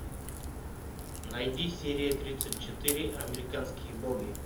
найди серия тридцать четыре американские боги